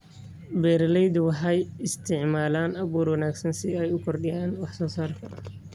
Beeraleydu waxay isticmaalaan abuur wanaagsan si ay u kordhiyaan wax-soo-saarka.